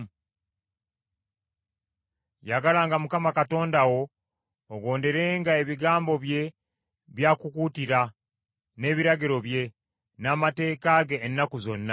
Yagalanga Mukama Katonda wo, ogonderenga ebigambo bye by’akukuutira, n’ebiragiro bye, n’amateeka ge ennaku zonna.